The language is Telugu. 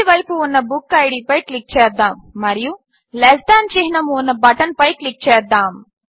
కుడిచేతివైపు ఉన్న బుక్కిడ్ పై క్లిక్ చేద్దాము మరియు లెస్ థాన్ చిహ్నము ఉన్న బటన్పై క్లిక్ చేద్దాము